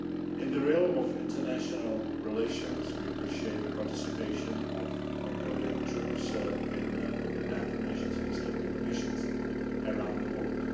In the realm of international relations, we appreciate the participation of Mongolian troops in the United Nations peace keeping missions around the world.